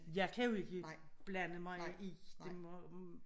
Jeg kan jo ikke blande mig i det må